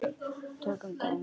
Tökum dæmi: